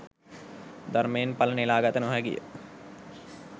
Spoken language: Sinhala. ධර්මයෙන් ඵල නෙළාගත නොහැකි ය